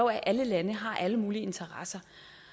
at alle lande har alle mulige interesser